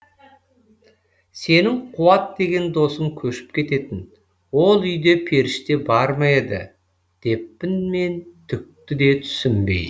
сенің қуат деген досың көшіп кететін ол үйде періште бар ма еді деппін мен түкті де түсінбей